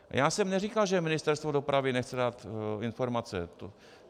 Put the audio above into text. Já jsem neříkal, že Ministerstvo dopravy nechce dát informace.